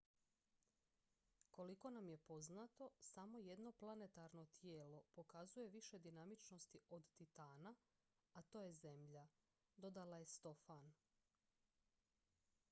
koliko nam je poznato samo jedno planetarno tijelo pokazuje više dinamičnosti od titana a to je zemlja dodala je stofan